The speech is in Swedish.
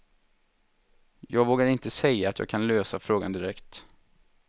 Jag vågar inte säga att jag kan lösa frågan direkt.